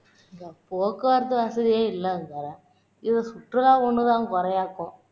போக்குவரத்து வசதியே இல்லைங்குறேன் இதுல சுற்றுல ஒண்ணு தான் குறையாக்கும்